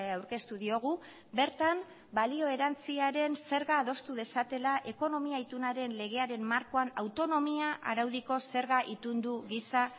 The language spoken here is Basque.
aurkeztu diogu bertan balio erantsiaren zerga adostu dezatela ekonomia itunaren legearen markoan autonomia araudiko zerga itundu gisa